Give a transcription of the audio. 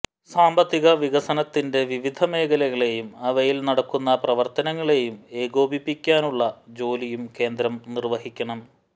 സാമ്പത്തിക വികസനത്തിന്റെ വിവിധ മേഖലകളെയും അവയിൽ നടക്കുന്ന പ്രവർത്തനങ്ങളെയും ഏകോപിപ്പിക്കാനുള്ള ജോലിയും കേന്ദ്രം നിർവഹിക്കണം